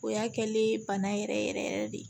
O y'a kɛlen ye bana yɛrɛ yɛrɛ yɛrɛ yɛrɛ de